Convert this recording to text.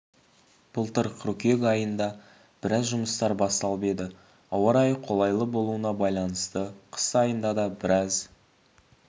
былтыр қыркүйек айында біраз жұмыстар басталып еді ауа райы қолайлы болуына байланысты қыс айында да біраз